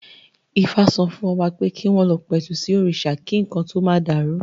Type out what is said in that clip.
Ifá sọ fún Ọba pé kí wọ́n lọ pẹ̀tù sí òrìṣà kí nǹkan tó ma dàrú